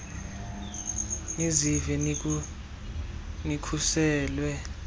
nizive nikhuselekile nikhuselwe